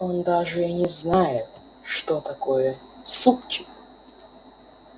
он даже и не знает что такое супчик